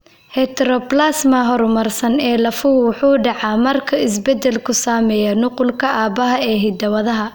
Heteroplasma horumarsan ee lafuhu wuxuu dhacaa marka isbeddelku saameeya nuqulka aabbaha ee hidda-wadaha.